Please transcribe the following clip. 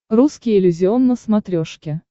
русский иллюзион на смотрешке